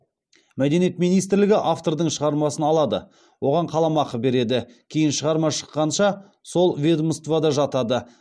мәдениет министрлігі автордың шығармасын алады оған қаламақы береді кейін шығарма шыққанша сол ведомствода жатады